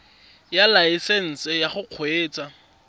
ya laesesnse ya go kgweetsa